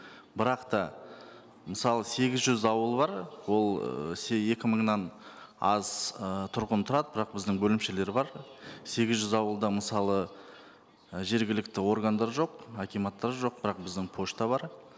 бірақ та мысалы сегіз жүз ауыл бар ол ыыы екі мыңнан аз ы тұрғын тұрады бірақ біздің бөлімшелер бар сегіз жүз ауылда мысалы і жергілікті органдар жоқ акиматтар жоқ бірақ біздің пошта бар